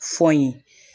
Fɔ n ye